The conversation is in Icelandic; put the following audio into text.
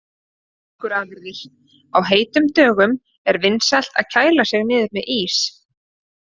Mjólkurafurðir: Á heitum dögum er vinsælt að kæla sig niður með ís.